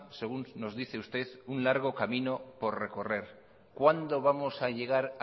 según nos dice usted un largo camino por recorrer cuándo vamos a llegar